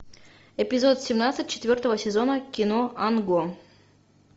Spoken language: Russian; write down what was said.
эпизод семнадцать четвертого сезона кино анго